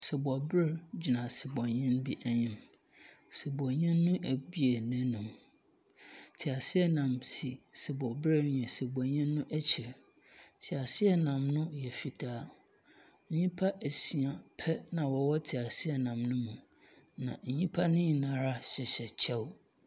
Sebɔber gyina sebɔnyin bi enyim, sebɔnyin no ebue n’anomu. Tseaseanam si sebɔber na sebɔnyin no ekyir. Tseaseanam no yɛ fitaa. Nyimpa esia pɛ na wɔwɔ tseaseanam no mu. Na nyimpa no nyinara hyehyɛ kyɛw.